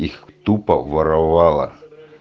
их тупо воровала